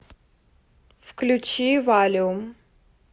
включи валиум